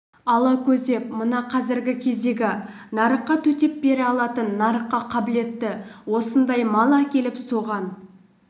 ала көздеп мына қазіргі кездегі нарыққа төтеп бере алатын нарыққа қабілетті осындай мал әкеліп соған